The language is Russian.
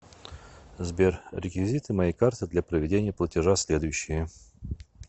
сбер реквизиты моей карты для проведения платежа следующие